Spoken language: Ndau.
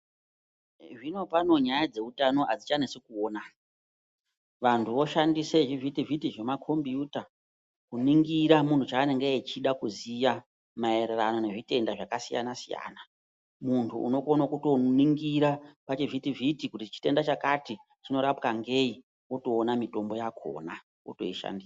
Zvinopano nyaya dzeutano azvichanesi kuona, vantu voshandisa zvivhiti-vhiti zvemakombiyuta, kuningira munhu chanenge achida kuziya, maererano nezvitenda zvakasiyana siyana, munthu unokona kuningira pa zvivhiti vhiti kuti chitenda chakati chinorapwa ngeyi wotoona mitombo yakhona wotoishandisa.